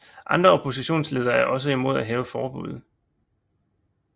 Andre oppostionsledere er også imod at hæve forbuddet